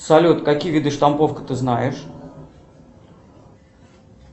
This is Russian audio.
салют какие виды штамповки ты знаешь